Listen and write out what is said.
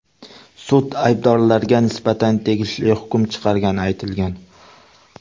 Sud aybdorlarga nisbatan tegishli hukm chiqargani aytilgan.